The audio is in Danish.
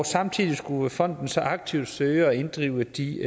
samtidig skulle fonden så aktivt søge at inddrive de